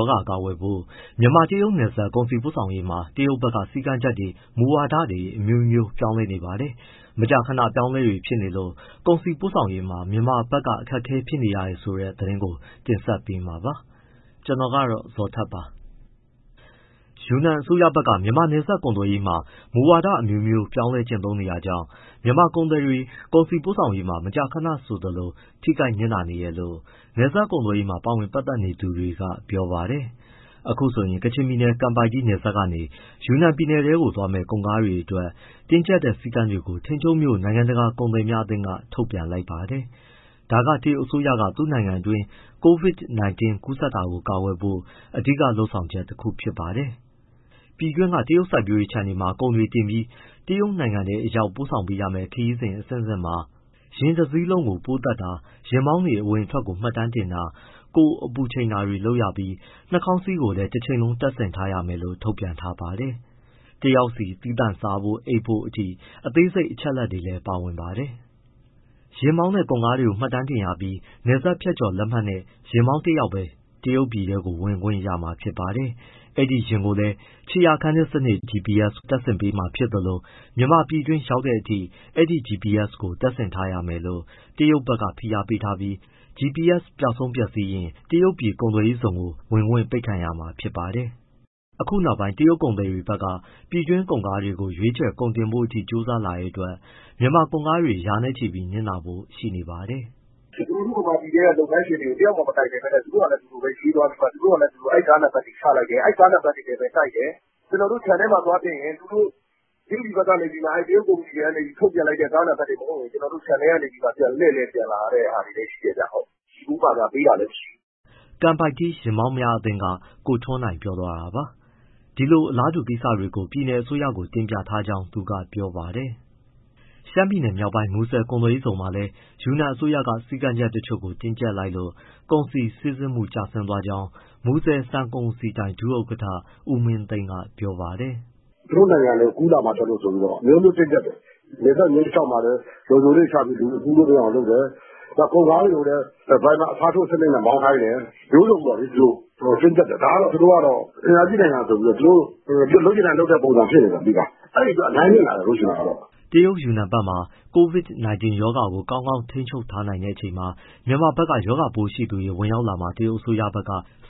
ောဂါ ကာကွယ်ဖို့ မြန်မာ- တရုတ် နယ်စပ်ကုန်စည်ပို့ဆောင်ရေးမှာ တရုတ်ဘက်က စည်းကမ်းချက်တွေ၊ မူဝါဒတွေ အမျိုးမျိုး ပြောင်းနေပါတယ်။ မကြာခဏအပြောင်းအလဲတွေဖြစ်လို့ ကုန်စည်ပို့ဆောင်ရေးမှာ မြန်မာဘက်က အခက်အခဲ ဖြစ်ရတယ်ဆိုတဲ့ သတင်းကို ကိုဇော်ထက် တင်ဆက်ပေးမှာပါ။ ယူနန်အစိုးရဘက်က မြန်မာနဲ့ နယ်စပ်ကုန်သွယ်ရေးမှာ မူဝါဒအမျိုးမျိုးပြောင်းကျင့်သုံးတာကြောင့် မြန်မာ ကုန်သည်တွေ၊ ကုန်စည်ပို့ဆောင်ရေးတွေ မကြာခဏဆိုသလို ထိခိုက်နစ်နာနေတယ်လို့ နယ်စပ် ကုန်သွယ်ရေးမှာ ပါဝင်ပတ်သက် သူတွေက ပြောပါတယ်။ အခုဆိုရင် ကချင်ပြည်နယ် ကန်ပိုက်တီး နယ်စပ်ဂိတ်ကနေ ယူနန်ပြည်နယ်ထဲ သွားမယ့် ကုန်ကားတွေအတွက် တင်းကျပ်တဲ့ စည်းကမ်းတွေကို ထိန်ချုံးမြို့နိုင်ငံတကာကုန်သည်များအသင်းက ထုတ်ပြန်လိုက်ပါတယ်။ ဒါက တရုတ်အစိုးရက သူ့နိုင်ငံတွင်း COVID-19 ကူးစက်တာကို ကာကွယ်ဖို့ အဓိက လုပ်ဆောင်ချက်တခုပါ။ ပြည်တွင်းက တရုတ်စိုက်ပျိုးရေးခြံတွေမှာ ကုန်တွေတင်ပြီး တရုတ်နိုင်ငံထဲအရောက် ပို့ဆောင်ပေးရမယ့် ခရီးစဉ်အဆင့်အဆင့်တိုင်းမှာ ယာဉ်တစီးလုံး ပိုးသတ်တာ၊ ယာဉ်မောင်းတွေ အဝင်အထွက်ကို မှတ်တမ်းတင်တာ၊ ကိုယ်အပူချိန်တာတွေလုပ်ရပြီး နှာခေါင်းစည်းကို တချိန်လုံးတပ်ဆင်ထားရမယ်လို့ ထုတ်ပြန်ထားပါတယ်။ တယောက်စီ သီးသန့်စားဖို့၊ အိပ်ဖို့ အထိအသေးစိတ် အချက်အလက်တွေလည်း ပါဝင်ပါတယ်။ ယာဉ်မောင်းနဲ့ ကုန်ကားကို မှတ်ပုံတင်ရပြီး နယ်စပ်ဖြတ်ကျော်လက်မှတ်နဲ့ ယာဉ်မောင်းတယောက်ပဲ တရုတ်ပြည်ထဲ ဝင်ခွင့်ရမှာပါ။ အဲဒီယာဉ်ကိုလည်း ခြေရာခံစနစ် GPS တပ်ဆင်ပေးမှာဖြစ်သလို မြန်မာပြည်တွင်းရောက်တဲ့အထိ အဲဒီ GPS ကို တပ်ဆင်ထားရမယ်လို့ တရုတ်ဘက်က ဖိအားပေးထားပြီး GPS ပျောက်ဆုံးပျက်စီးရင် တရုတ်ပြည်ကုန်သွယ်ရေးဇုံ ဝင်ခွင့်ပိတ်ခံရမှာပါ။ အခုနောက်ပိုင်း တရုတ်ကုန်သည်တွေဘက်က ပြည်တွင်းကုန်ကားကို ရွေးချယ်၊ ကုန်တင်ဖို့အထိ ကြိုးစားလာလို့ မြန်မာကုန်ကားတွေရာနဲ့ချီ နစ်နာဖို့ရှိနေပါတယ်။ “ ကျနော်တို့ မြန်မာပြည်ထဲက လုပ်ငန်းရှင်တွေကို တယောက်မှ မတိုင်ပင်ပဲ သူတို့ဟာနဲ့သူတို့ ရွေးသွားပြီး ကားနံပတ်တွေ ချလိုက်တယ်။ အဲဒီကားနံပတ်တွေနဲ့ တိုက်တယ်။ ကျနော်တို့ ခြံထဲမှာ သွားတင်ရင် တရုတ်ကုမ္ပဏီတွေက ထုတ်ပြန်လိုက်တဲ့ ကားနံပတ်တွေ မဟုတ်ရင် ကျနော်တို့ ခြံထဲကနေ လှည့်ပြန်လာရတာရှိတယ်။ ဆီဖိုးပေးတာလည်းမရှိဘူး။” ကန်ပိုက်တီး ယာဉ်မောင်းများအသင်းက ကိုထွန်းနိုင် ပြောသွားတာပါ။ ဒီလို အလားတူကိစ္စတွေကို ပြည်နယ်အစိုးရကိုလည်း တင်ပြ ထားကြောင်း သူကပြောပါတယ်။ ရှမ်းပြည်မြောက်ပိုင်း မူဆယ်ကုန်သွယ်ရေးဇုန်မှာလည်း ယူနန်အစိုးရက စည်းကမ်းတချို့ကို တင်းကျပ်လိုက်လို့ ကုန်စည်စီးဆင်းမှု ကျသွားကြောင်း မူဆယ်ဆန်ကုန်စည်ဒိုင် ဒုဥက္ကဋ္ဌ ဦးမင်းသိန်းက ပြောပါတယ်။ “ သူတို့နိုင်ငံထဲ ကူးလာမှာကြောက်လို့ အမျိုးမျိုးတင်းကျပ်တယ်၊ နယ်စပ်မျဉ်းတလျှောက်မှာလည်း လုံခြုံရေးတွေချပြီး လူတွေ ကူးလို့ မရအောင်လုပ်တယ်၊ ကုန်ကားတွေကိုလည်း ဒါရိုင်ဘာ အစားထိုးစနစ်နဲ့ မောင်းခိုင်းတယ်၊ မျိုးစုံပေါ့ သူတို့ တင်းကျပ်တယ်။ ဒါကတော့ သူတို့က အင်အားကြီးနိုင်ငံဆိုပြီးတော့ လုပ်ချင်တိုင်း လုပ်တဲ့ပုံစံဖြစ်နေတယ်။ အဲဒီအတွက် အများကြီးနစ်နာတယ်။” တရုတ်ယူနန်ပြည်နယ်ဘက်မှာ COVID-19 ရောဂါကို ကောင်းကောင်းထိန်းချုပ်ထားနိုင်ချိန် မြန်မာဘက် ရောဂါပိုးရှိသူတွေ ဝင်ရောက်လာမှာ တရုတ်အစိုးရက